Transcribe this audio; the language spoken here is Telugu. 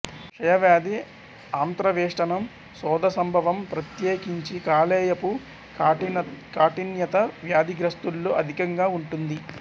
క్షయవ్యాధి ఆంత్రవేష్టణం శోధ సంభవం ప్రత్యేకించి కాలేయపు కాఠిన్యత వ్యాధిగ్రస్తుల్లో అధికంగా ఉంటుంది